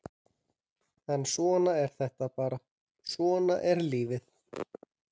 En svona er þetta bara, svona er lífið!